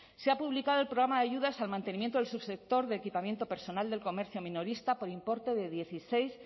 se ha publicado el programa de ayudas al mantenimiento del subsector de equipamiento personal del comercio minorista por importe de dieciséis